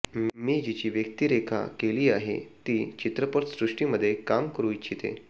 मी जिची व्यक्तीरेखा केली आहे ती चित्रपटसृष्टीमध्ये काम करू इच्छिते